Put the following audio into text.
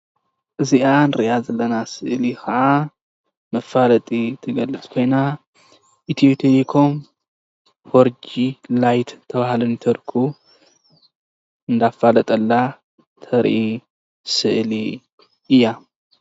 እዚኣ ንሪኣ ዘለና ስእሊ ከዓ መፋለጢ ዝገልፅ ኮይና ኢትዮ ቴሌኮም 4G ላይት ዝተብሃለ ኔትወርክ እብዳፍለጣላ ተርኢ ምስሊ እያ።